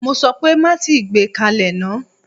Mo sọ pé má tíì gbé kalẹ̀ náà!